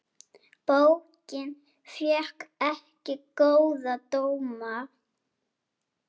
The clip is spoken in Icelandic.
Bókin fékk ekki góða dóma.